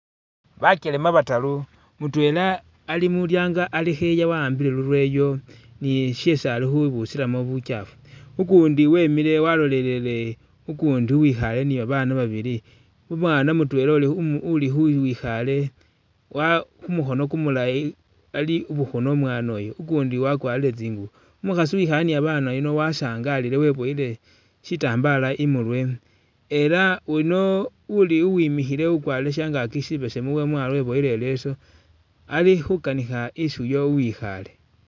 Bakelema bataru mutwela alimulyango kha'eya waambile lulweyo ni'shesi abusilamo butsafu ukundi wemile walolelele ukundi uwikhale nibabana babili umwana mutwela uli uli khuwikhale wa khumukhono kumulayi alibukhuna umwanoyu ukundi wakwarile tsingubo umukhasi uwikhale ni'babana bano wasangalile weboyile sitambala imurwe elah wuno uli uwimikhile ukwarile shangaki sibesemu lwamwalo weboyile ileso alikhukanikha isi uyo uwikhale